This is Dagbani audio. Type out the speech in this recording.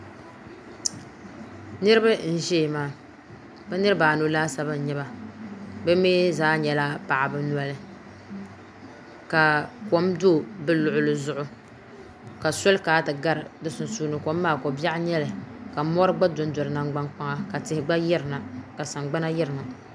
Niriba n ʒɛya maa bɛ niriba anu laasabu n nyɛba bɛ mee zaa nyɛla paɣaba noli ka kom do bɛ luɣuli zuɣu ka soli kana ti gari bɛ sunsuuni kom maa ko biaɣu n nyɛli ka mori gba dondo di nangban kpaŋa tihi gba yirina ka sangbana yirina.